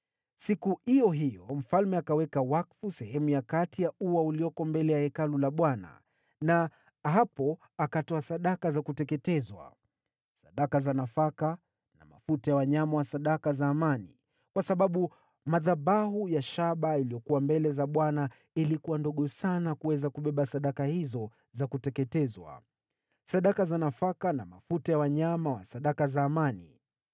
Siku iyo hiyo mfalme akaweka wakfu sehemu ya katikati ya ua uliokuwa mbele ya Hekalu la Bwana na hapo akatoa sadaka za kuteketezwa, sadaka za nafaka na mafuta ya sadaka za amani, kwa sababu madhabahu ya shaba iliyokuwa mbele za Bwana ilikuwa ndogo sana kuweza kubeba sadaka hizo za kuteketezwa, sadaka za nafaka na mafuta ya sadaka ya amani.